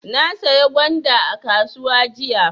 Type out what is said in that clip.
Na saya gwanda a kasuwa jiya.